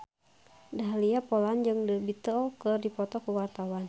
Dahlia Poland jeung The Beatles keur dipoto ku wartawan